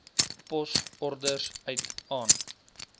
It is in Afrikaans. posorders uit aan